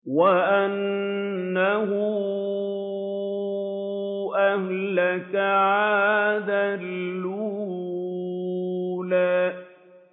وَأَنَّهُ أَهْلَكَ عَادًا الْأُولَىٰ